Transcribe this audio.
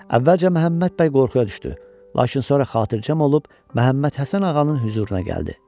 Əvvəlcə Məhəmməd bəy qorxuya düşdü, lakin sonra xatircəm olub Məhəmməd Həsən ağanın hüzuruna gəldi.